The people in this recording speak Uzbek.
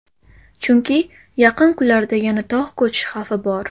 Chunki yaqin kunlarda yana tog‘ ko‘cish xavfi bor.